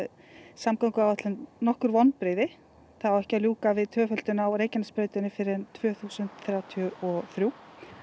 samgönguáætlun nokkur vonbrigði það á ekki að ljúka við tvöföldun á Reykjanesbrautinni fyrr en tvö þúsund þrjátíu og þrjú